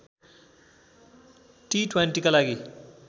टिट्वान्टीका लागि